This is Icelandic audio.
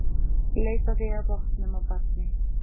Leitaði að vopnum á barni